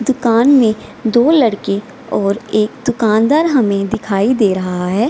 दुकान में दो लड़के और एक दुकानदार हमे दिखाई दे रहा है |